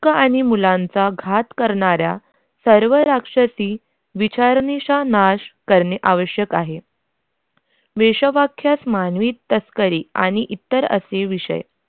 हक्क आणि मुलांचा घात करणारा सर्व राक्षसी विचारण्याच्या नाश करणे आवश्यक आहे वेश्या वाक्यात मानवी तस्करी आणि इतर असले विषय.